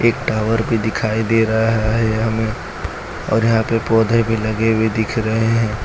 Tower भी दिखाई दे रहा है ये हमें और यहां पे पौधे भी लगे हुए दिख रहे हैं।